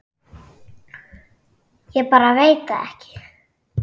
Ég bara veit það ekki.